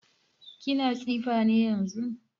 Kini tsifa ne yanzun?